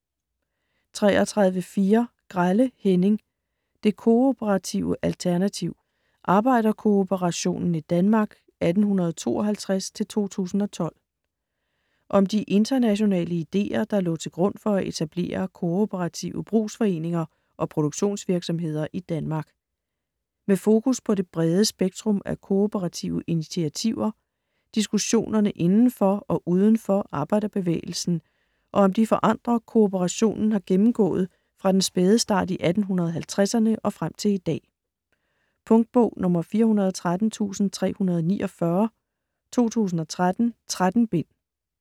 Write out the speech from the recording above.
33.4 Grelle, Henning: Det kooperative alternativ: arbejderkooperationen i Danmark 1852-2012 Om de internationale ideer, der lå til grund for at etablere kooperative brugsforeninger og produktionsvirksomheder i Danmark. Med fokus på det brede spektrum af kooperative initiativer, diskussionerne inden for og uden for arbejderbevægelsen og om de forandringer, kooperationen har gennemgået fra den spæde start i 1850'erne og frem til i dag. Punktbog 413349 2013. 13 bind.